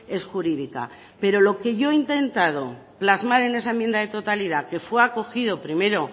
es jurídica pero lo que yo he intentado plasmar en esa enmienda de totalidad que fue acogido primero